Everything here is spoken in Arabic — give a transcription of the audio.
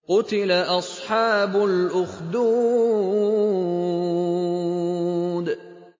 قُتِلَ أَصْحَابُ الْأُخْدُودِ